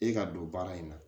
E ka don baara in na